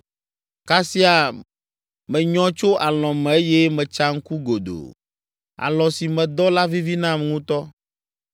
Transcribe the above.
Kasia menyɔ tso alɔ̃ me eye metsa ŋku godoo. Alɔ̃ si medɔ la vivi nam ŋutɔ.